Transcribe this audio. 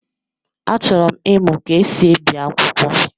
Achọrọ m ịmụ ka esi ebi akwụkwọ.